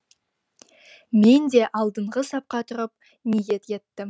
мен де алдыңғы сапқа тұрып ниет еттім